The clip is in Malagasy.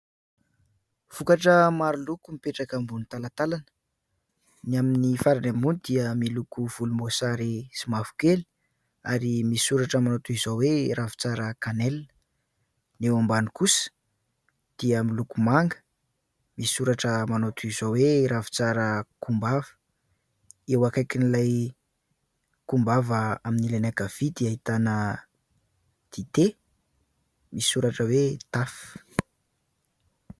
Vokatra maro loko mipetraka ambony talantalana. Ny amin'ny farany ambony dia miloko volomboasary sy mavokely ary misy soratra manao toy izao hoe " ravintsara canelle". Ny eo mabany kosa dia miloko manga misy soratra manao toy izao hoe "ravintsara kombava". Eo akaikin'ilay kombava amin'ny ilany ankavia dia ahitana dite misy soratra hoe " taf".